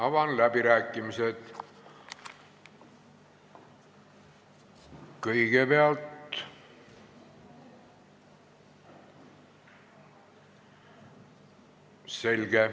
Avan läbirääkimised.